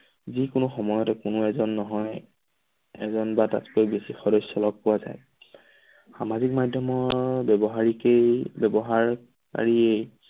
যিকোনো সময়তে কোনো এজন নহয় এজন বা তাতকৈ বেছি সদস্য লগ পোৱা যায় সামাজিক মাধ্যমৰ ব্যৱসাৰিকেই ব্যৱহাৰ কাৰীয়েই